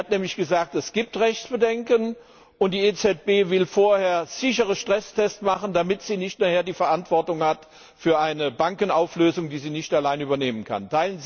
Sie hat nämlich gesagt Es gibt Rechtsbedenken, und die EZB will vorher sichere Stresstests machen, damit sie nicht hinterher die Verantwortung hat für eine Bankenauflösung, die sie nicht alleine übernehmen kann.